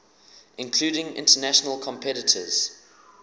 including international competitors